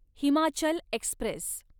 Himachal Express